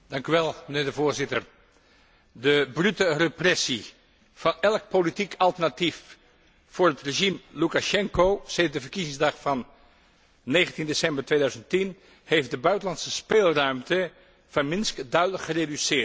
Mijnheer de Voorzitter, de brute repressie van elk politiek alternatief voor het regime Lukasjenko sedert de verkiezingsdag van 19 december 2010 heeft de buitenlandse speelruimte van Minsk duidelijk gereduceerd.